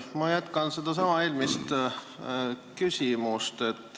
Ma jätkan eelmist küsimust.